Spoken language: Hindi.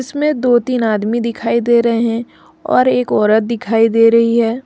इसमें दो तीन आदमी दिखाई दे रहे हैं और एक औरत दिखाई दे रही है।